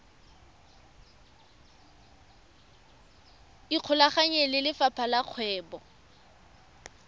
ikgolaganye le lefapha la kgwebo